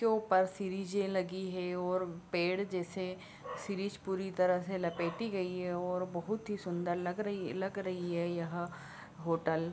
के ऊपर सीरीजें लगी हैं और पेड़ जैसे सीरीज पूरे लपेटी गई हैं और बहुत ही सुंदर लग रही लग रही है यह होटल।